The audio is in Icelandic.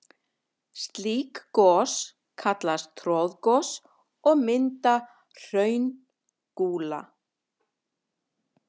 Slík gos kallast troðgos og mynda hraungúla.